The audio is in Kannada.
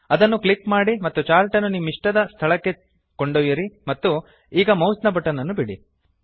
ಅದನ್ನು ಕ್ಲಿಕ್ ಮಾಡಿ ಮತ್ತು ಚಾರ್ಟ್ ಅನ್ನು ನಿಮ್ಮ ಇಷ್ಟವಾದ ಸ್ಥಳಕ್ಕೆ ಕೊಂಡೊಯ್ಯಿರಿ ಮತ್ತು ಈಗ ಮೌಸ್ ನ ಬಟನ್ ಅನ್ನು ಬಿಡಿ